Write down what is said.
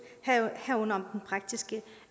herunder om praktiske